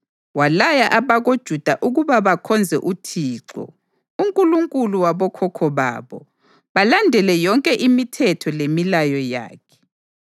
Walaya abakoJuda ukuba bakhonze uThixo, uNkulunkulu wabokhokho babo, balandele yonke imithetho lemilayo yakhe.